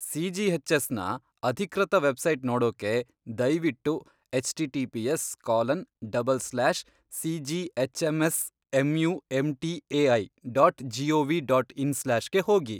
ಸಿಜಿಎಚ್ಎಸ್ನ ಅಧಿಕೃತ ವೆಬ್ಸೈಟ್ ನೋಡೋಕೆ ದಯ್ವಿಟ್ಟು HTTPS colon double slash CGHMSMUMBAI dot GOV dot in slash ಗೆ ಹೋಗಿ.